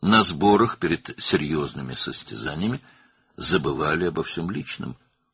Ciddi yarışlardan əvvəlki toplanışlarda şəxsi hər şey unudulurdu.